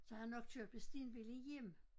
Så har han nok kørt på stenbil igennem